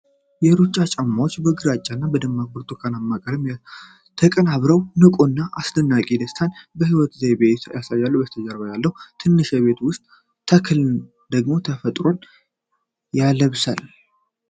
የሩጫ ጫማዎች፣ በግራጫ እና በደማቅ ብርቱካናማ ቀለሞች ተቀናብረው፣ ንቁ እና አስደሳች (ደስታን) የሕይወት ዘይቤን ያሳያሉ። በስተጀርባ ያለው ትንሽ የቤት ውስጥ ተክል ደግሞ ተፈጥሮን ያላብሳል።